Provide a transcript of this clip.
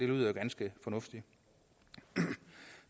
lyder ganske fornuftigt